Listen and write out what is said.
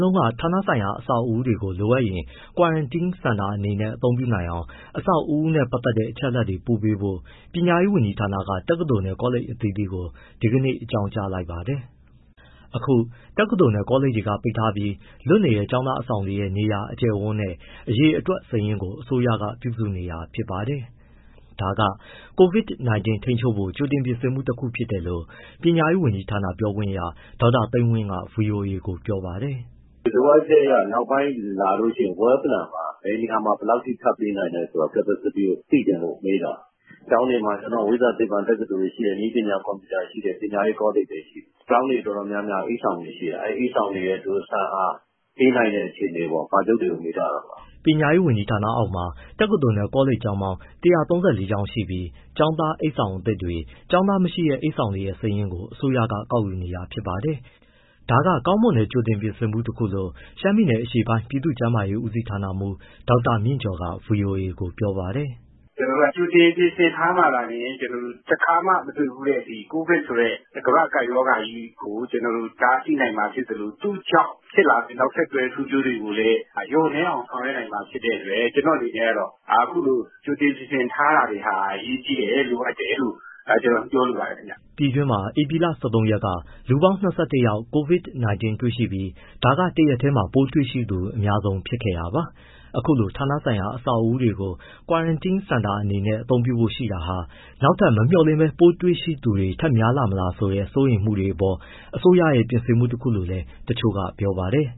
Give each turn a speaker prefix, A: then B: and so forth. A: လုံးက ဌာနပိုင်အဆောက်အဦးတွေကို လိုအပ်ရင် Quarantine center တွေအနေနဲ့သုံးနိုင်အောင် အဆောက်အဦးနဲ့ပတ်သက်တဲ့ အချက်အလက်တွေ ပို့ပေးဖို့ ပညာရေးဝန်ကြီးဌာနက တက္ကသိုလ်နဲ့ ကောလိပ်အသီးသီးကို ဒီကနေ့ အကြောင်းကြားလိုက်ပါတယ်။ ဒီအကြောင်း ဗွီအိုအေမြန်မာပိုင်း သတင်းထောက် ကိုဇော်ထက်က ပြောပြပေးပါမယ်။ အခု တက္ကသိုလ်၊ ကောလိပ်တွေက ပိတ်ထားပြီး လွတ်နေတဲ့ ကျောင်းသားအဆောင်တွေရဲ့ နေရာ၊ အကျယ်အဝန်းနဲ့ အရေအတွက် စာရင်းကို အစိုးရက ပြုစုနေတာဖြစ်ပါတယ်။ ဒါက COVID-19 ထိန်းချုပ်ဖို့ ကြိုတင်ပြင်ဆင်မှု တခုဖြစ်တယ်လို့ ပညာရေးဝန်ကြီးဌာန ပြောခွင့်ရ ဒေါက်တာ သိန်းဝင်းက ဗွီအိုအေကို ပြောပါတယ်
B: ။ “လိုအပ်ချက်အရ နောက်ပိုင်း လာလို့ရှိရင် well planned ပါ၊ ဘယ်နေရာမှာ ဘယ်လောက်အထိ ထပ်ပေးနိုင်လဲဆိုတာ capacity ကို သိချင်လို့မေးတာ၊ ကျောင်းတွေမှာ ဝိဇ္ဇာ၊ သိပ္ပံတက္ကသိုလ်တွေ ရှိတယ်၊ နည်းပညာ၊ ကွန်ပျူတာရှိတယ်၊ ပညာရေးကောလိပ်တွေ ရှိတယ်၊ ကျောင်းတွေ တော်တော်များများက အိပ်ဆောင်တွေ ရှိတယ်၊ အဲဒီ အိပ်ဆောင်တွေရဲ့ ဆံ့အား၊ ပေးနိုင်တဲ့ အခြေအနေကို ပါချုပ်တွေကို မေးထားတာပါ
A: ။” ပညာရေးဝန်ကြီးဌာနအောက်မှာ တက္ကသိုလ်နဲ့ ကောလိပ်ပေါင်း ၁၃၄ ကျောင်းရှိပြီး ကျောင်းသား အိပ်ဆောင်အသစ်တွေ၊ ကျောင်းသားမရှိတဲ့ အိပ်ဆောင်တွေရဲ့ စာရင်းကို အစိုးရက ကောက်ယူနေတာဖြစ်ပါတယ်။ ဒါက ကောင်းမွန်တဲ့ ကြိုတင်ပြင်ဆင်မှုတခုလို့ ရှမ်းပြည်အရှေ့ပိုင်း ပြည်သူ့ကျန်းမာရေးဦးစီးဌာနမှူး ဒေါက်တာမြင့်ကျော်က ဗွီအိုအေကို ပြောပါတယ်။
C: “ကြိုတင်ပြင်ဆင်ထားမှာသာလျှင် ကျနော်တို့ တခါမှ မတွေ့ဖူးတဲ့ COVID ဆိုတဲ့ ကမ္ဘာ့ကပ်ရောဂါကြီးကို ကျနော်တို့ တားဆီးနိုင်မှာ ဖြစ်သလို သူ့ကြောင့်ဖြစ်လာမယ့် နောက်ဆက်တွဲ ဆိုးကျိုးတွေကိုလည်း လျှော့နည်းအောင် ဆောင်ရွက်နိုင်မှာ ဖြစ်တဲ့အတွက် အခုလို ကြိုတင် ပြင်ဆင်ထားတာတွေဟာ အရေးတကြီးလိုအပ်တယ်လို့ ပြောလိုပါတယ်။
A: ” ပြည်တွင်းမှာ ဧပြီလ ၁၃ ရက်က လူပေါင်း ၂၁ ယောက် COVID-19 တွေ့ရှိခဲ့ပြီး ဒါက တရက်ထဲမှာ ပိုးတွေ့ရှိသူ အများဆုံးဖြစ်ခဲ့တာပါ။ အခုလို ဌာနဆိုင်ရာအဆောက်အဦတွေကို Quarantine center အနေနဲ့သုံးဖို့ရှိတာဟာ နောက်ထပ် မမျှော်လင့်ဘဲ ပိုးတွေ့ရှိသူတွေ ထပ်များလာမလားဆိုတဲ့ စိုးရိမ်မှုတွေအပေါ် အစိုးရရဲ့ ပြင်ဆင်မှုတခုလို့လည်း တချို့ကပြောပါတယ်